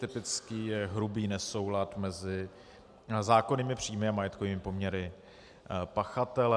Typický je hrubý nesoulad mezi zákonnými příjmy a majetkovými poměry pachatele.